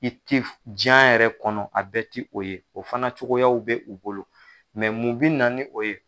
I tɛ diɲɛ yɛrɛ kɔnɔ a bɛ tɛ o ye o fana cogoyaw bɛ u bolo, mun bi naani o ye.